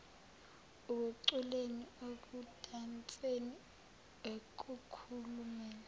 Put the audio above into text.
ekuculeni ekudanseni ekukhulumeni